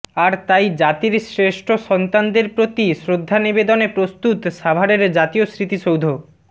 আর তাই জাতির শ্রেষ্ঠ সন্তানদের প্রতি শ্রদ্ধা নিবেদনে প্রস্তুত সাভারের জাতীয় স্মৃতিসৌধ